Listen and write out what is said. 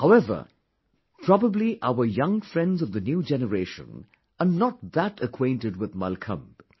However, probably our young friends of the new generation are not that acquainted with Mallakhambh